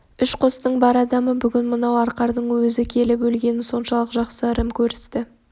үш қостың бар адамы бүгін мынау арқардың өзі келіп өлгенін соншалық жақсы ырым көрісті